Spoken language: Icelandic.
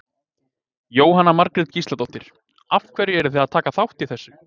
Jóhanna Margrét Gísladóttir: Af hverju eruð þið að taka þátt í þessu?